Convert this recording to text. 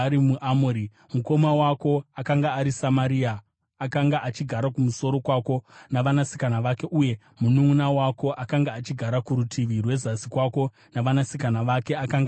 Mukoma wako akanga ari Samaria, akanga achigara kumusoro kwako navanasikana vake; uye mununʼuna wako, akanga achigara kurutivi rwezasi kwako navanasikana vake, akanga ari Sodhomu.